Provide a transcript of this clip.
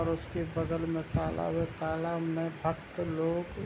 और उसके बगल में तालाब है तालाब में भक्त लोग --